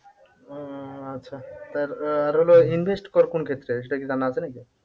ও আচ্ছা তার আহ আর হলো invest কর কোন ক্ষেত্রে সেটা কি জানা আছে নাকি?